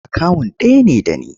Akawun ɗaya ne da ni.